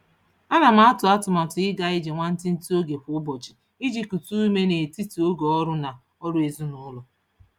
Ana m atụ atụmatụ ịga ije nwantiti oge kwa ụbọchị iji kute ume n'etiti oge ọrụ na ọrụ ezinụụlọ.